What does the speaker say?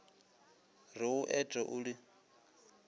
re o ete o di